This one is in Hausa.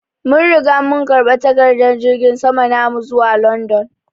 Mun Riga mun karba takadar jirgin sama namu zuwa London.